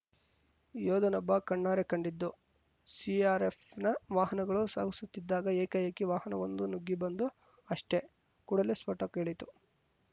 ಯೋಧನೊಬ್ಬ ಕಣ್ಣಾರೆ ಕಂಡಿದ್ದು ಸಿಆರ್‌ಎಫ್‌ನ ವಾಹನಗಳು ಸಾಗುತ್ತಿದ್ದಾಗ ಏಕಾಏಕಿ ವಾಹನವೊಂದು ನುಗ್ಗಿ ಬಂದು ಅಷ್ಟೆ ಕೂಡಲೇ ಸ್ಫೋಟ ಕೇಳಿತು